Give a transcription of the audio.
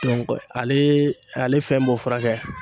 ale ale fɛn b'o furakɛ